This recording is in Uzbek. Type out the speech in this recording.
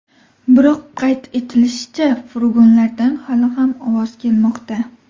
Biroq, qayd etilishicha, furgonlardan hali ham ovoz kelmoqda.